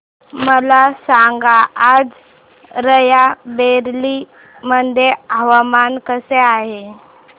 मला सांगा आज राय बरेली मध्ये हवामान कसे आहे